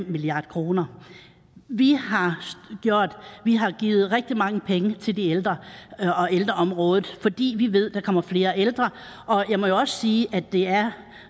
milliard kroner vi har har givet rigtig mange penge til de ældre og ældreområdet fordi vi ved at der kommer flere ældre og jeg må jo også sige at det er